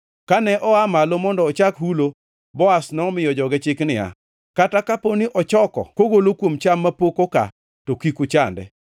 Kane oa malo mondo ochak hulo, Boaz nomiyo joge chik niya, “Kata kapo ni ochoko kogolo kuom cham mapok oka, to kik uchande.